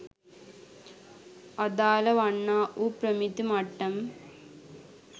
අදාළ වන්නා වූ ප්‍රමිති මට්ටම්